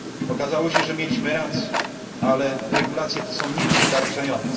Okazało się, że mieliśmy rację, ale regulacje te są niewystarczające.